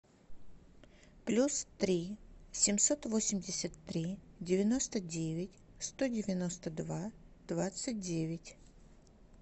плюс три семьсот восемьдесят три девяносто девять сто девяносто два двадцать девять